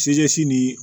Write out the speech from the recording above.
nin